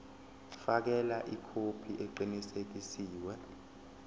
fakela ikhophi eqinisekisiwe